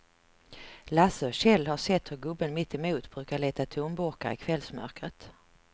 Lasse och Kjell har sett hur gubben mittemot brukar leta tomburkar i kvällsmörkret.